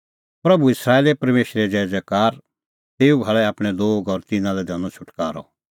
प्रभू इस्राएले परमेशरे ज़ैज़ैकार तेऊ भाल़ै आपणैं लोग और तिन्नां लै दैनअ छ़ुटकारअ